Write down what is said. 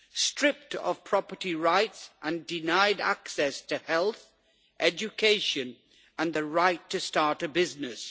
stripped of property rights and denied access to health, education and the right to start a business.